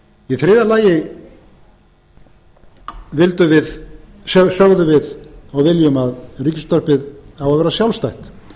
í þriðja lagi sögðum við og viljum að ríkisútvarpið á að vera sjálfstætt